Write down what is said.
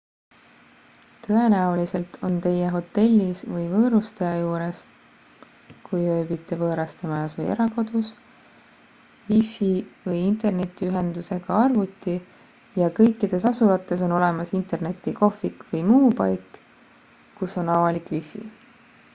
tõenäoliselt on teie hotellis või võõrustaja juures kui ööbite võõrastemajas või erakodus wi-fi või interneti-ühendusega arvuti ja kõikides asulates on olemas internetikohvik või muu paik kus on avalik wi-fi